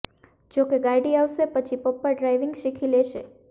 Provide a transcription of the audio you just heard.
જો કે ગાડી આવશે પછી પપ્પા ડ્રાઈવિંગ શીખી લેશે